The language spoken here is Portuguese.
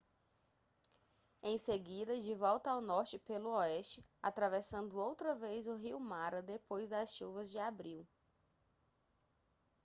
em seguida de volta ao norte pelo oeste atravessando outra vez o rio mara depois das chuvas de abril